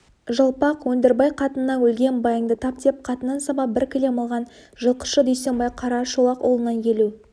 жалпақ өндірбай қатынынан өлген байыңды тап деп қатынын сабап бір кілем алған жылқышы дүйсенбай қарашолақұлынан елу